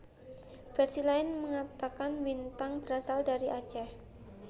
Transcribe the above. Versi lain mengatakan Win tang berasal dari Aceh